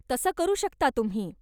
तसं करू शकता तुम्ही.